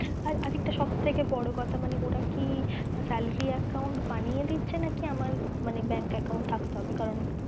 আরেকটা সব থেকে বোরো কথা, ওরা কি salary account বানিয়ে দিচ্ছে নাকি আমার bank account থাকতে হবে কারণ